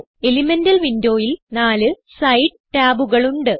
elemental Windowയിൽ നാല് side ടാബുകൾ ഉണ്ട്